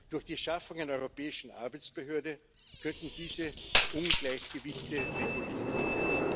Durch die Schaffung einer europäischen Arbeitsbehörde könnten diese Ungleichgewichte reguliert werden.